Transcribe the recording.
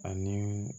Ani